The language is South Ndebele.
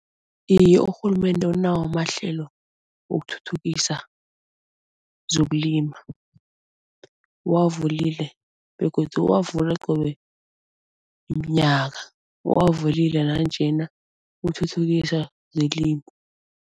Iye urhulumende unawo amahlelo wokuthuthukisa zokulima. Uwavulile begodu uwavule qobe mnyaka, uwavulile nanjena uthuthukisa zelimo.